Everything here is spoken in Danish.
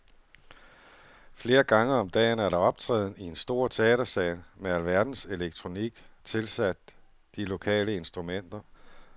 Flere gange om dagen er der optræden i en stor teatersal med alverdens elektronik tilsat de lokale instrumenter.